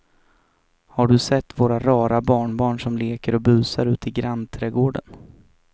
Har du sett våra rara barnbarn som leker och busar ute i grannträdgården!